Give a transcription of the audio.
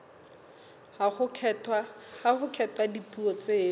ha ho kgethwa dipuo tseo